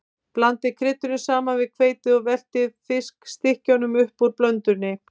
Blandið kryddinu saman við hveitið og veltið fiskstykkjunum upp úr blöndunni.